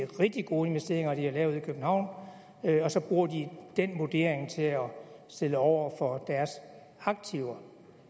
rigtig gode investeringer de har lavet i københavn og så bruger de den vurdering til at stille over for deres aktiver